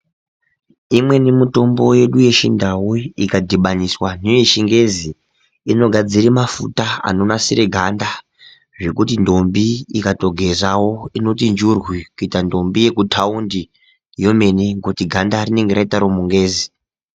Imweni mitombo yedu yechindau iyi ikadhibaniswa neyechingezi inogadzire mafuta anonasire ganda zvekuti ndombi ikatogezawo inoti nzvurwu ngekuti ganda rinenge raita remungezi.